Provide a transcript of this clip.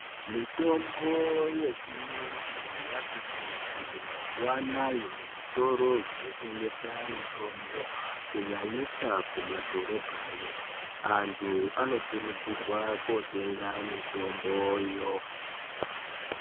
Mitombo yechiyungu yati kuti mazuwa anawa zvitoro zvinotengesa mitombo kunyanyisa mumadhorobhayo antu anokurudzirwa kotenga mitomboyo.